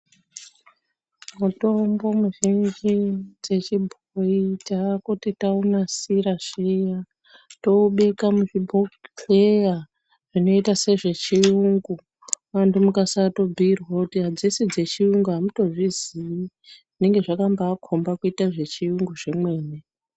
Mutombo muzhinji dzechibhoyi, taakuti taunasira zviya, toubeka muzvibhodhleya zvinoita sezvechiyungu. Vantu mukasato bhuyirwa kuti adzisi dzechiyungu, amungato zviziyi, zvinonga zvakabaa khomba kuita zvechiyungu zvemene.